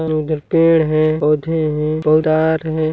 उधर पेड़ है पौधे है